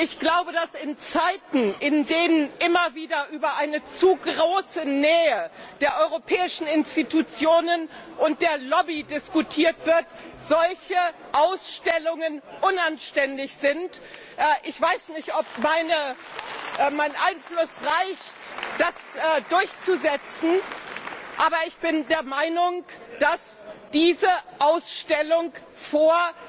Ich glaube, dass in Zeiten, in denen immer wieder über eine zu große Nähe der europäischen Institutionen und der Lobby diskutiert wird, solche Ausstellungen unanständig sind. Ich weiß nicht, ob mein Einfluss reicht, das durchzusetzen, aber ich bin der Meinung, dass diese Ausstellung vor